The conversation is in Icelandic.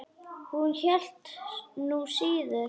Hún hélt nú síður.